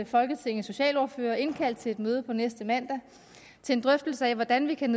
folketingets socialordførere og indkaldt til et møde på næste mandag til en drøftelse af hvordan vi kan